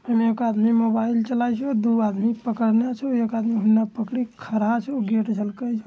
इने एक आदमी मोबाइल चला रहलो छे दू आदमी पकड़ला छो एक आदमी उने पकड़ के खड़ा छो गेट झलको छै।